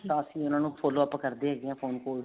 ਤਾਂ ਅਸੀਂ ਉਹਨਾ ਨੂੰ follow up ਕਰਦੇ ਹੈਗੇ